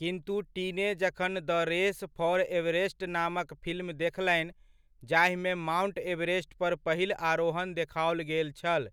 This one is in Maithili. किन्तु टीने जखन द रेस फाॅर एवरेस्ट नामक फिल्म देखलनि, जाहिमे माउन्ट एवरेस्ट पर पहिल आरोहण देखाओल गेल छल,